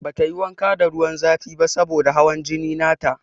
Bata yi wanka da ruwan zafi ba saboda da hawan jini na ta.